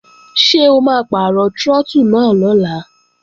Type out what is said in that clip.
Ṣé o máa pàrọ̀ trọ́tù náà lọ́la?